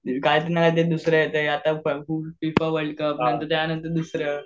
काहीच नाही ते दुसरे आता फिफा वर्ल्डकप त्यांनतर दुसरं